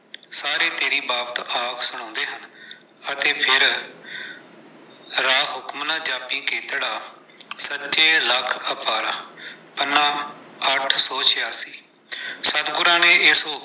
ਸਾਰੇ ਤੇਰੀ ਬਾਤ ਆਪ ਸੁਣਾਉਂਦੇ ਹਨ ਅਤੇ ਫੇਰ ਪੰਨਾ ਅੱਠ ਸੋ ਛਿਆਸੀ ਸਤਗੁਰਾਂ ਨੇ ਇਸ